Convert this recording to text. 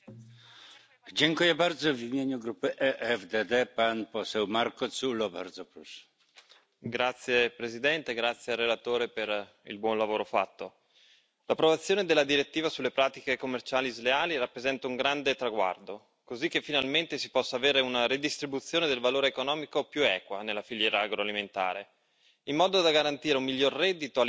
Signor Presidente, onorevoli colleghi, grazie al relatore per il buon lavoro fatto. L'approvazione della direttiva sulle pratiche commerciali sleali rappresenta un grande traguardo, così che finalmente si possa avere una redistribuzione del valore economico più equa nella filiera agroalimentare, in modo da garantire un miglior reddito alle piccole aziende agricole, ma anche una migliore qualità dei prodotti disponibili alla vendita.